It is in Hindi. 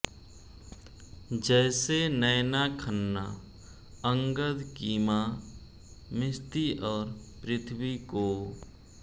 जैसे नैना खन्ना अंगद की माँ मिश्ती और पृथ्वी को